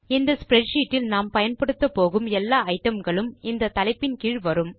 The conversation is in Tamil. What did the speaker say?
இந்த ஸ்ப்ரெட்ஷீட் இல் நாம் பயன்படுத்தப்போகும் எல்லா ஐட்டம் களும் இந்த தலைப்பின் கீழ் வரும்